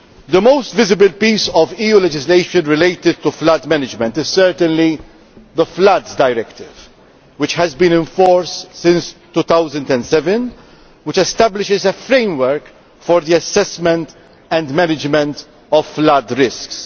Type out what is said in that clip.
The most visible piece of EU legislation relating to flood management is certainly the Floods Directive, which has been in force since 2007 and which establishes a framework for the assessment and management of flood risks.